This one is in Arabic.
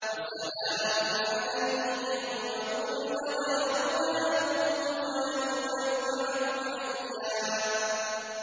وَسَلَامٌ عَلَيْهِ يَوْمَ وُلِدَ وَيَوْمَ يَمُوتُ وَيَوْمَ يُبْعَثُ حَيًّا